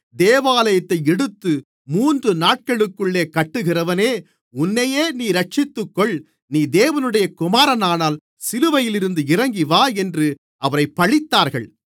தேவாலயத்தை இடித்து மூன்று நாட்களுக்குள்ளே கட்டுகிறவனே உன்னைநீயே இரட்சித்துக்கொள் நீ தேவனுடைய குமாரனானால் சிலுவையிலிருந்து இறங்கிவா என்று அவரைப் பழித்தார்கள்